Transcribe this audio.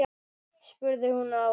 spurði hún afa.